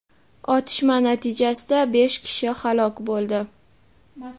Otishma natijasida besh kishi halok bo‘ldi.